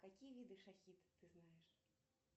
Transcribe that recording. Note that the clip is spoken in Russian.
какие виды шахид ты знаешь